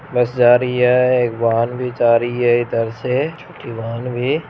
बस जा रही है । एक वाहन भी जा रही है इधर से छोटी वाहन भी ।